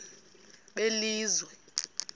belizwe